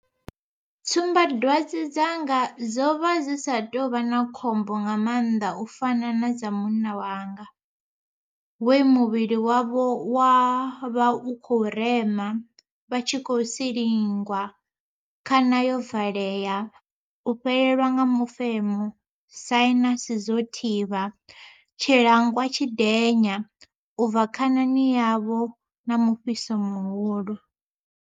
Tsumbadwadze dzanga dzo vha dzi sa tou vha na khombo nga maanḓa u fana na dza munna wanga, we muvhili wavho wa vha u khou rema, vha tshi khou silingwa, khana yo valea, u fhelelwa nga mufemo, sainasi dzo thivha, tshilangwa tshidenya u bva khanani yavho na mufhiso muhulu.